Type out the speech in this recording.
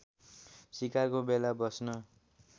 सिकारको बेला बस्न